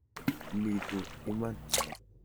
Iitu iman.